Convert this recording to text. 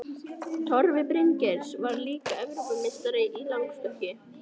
Torfi Bryngeirsson varð líka Evrópumeistari, í langstökki.